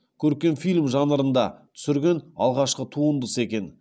көркем фильм жанрында түсірген алғашқы туындысы екен